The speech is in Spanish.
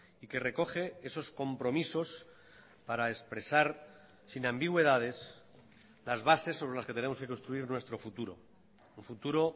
y que recoge esos compromisos para expresar sin ambigüedades las bases sobre las que tenemos que construir nuestro futuro un futuro